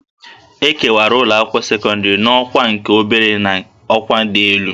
E kewara ụlọakwụkwọ sekọndịrị n'ọkwa nke obere na ọkwa dị elu